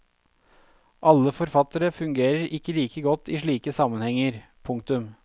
Alle forfattere fungerer ikke like godt i slike sammenhenger. punktum